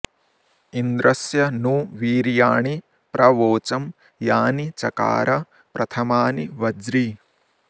इन्द्र॑स्य॒ नु वी॒र्या॑णि॒ प्र वो॑चं॒ यानि॑ च॒कार॑ प्रथ॒मानि॑ व॒ज्री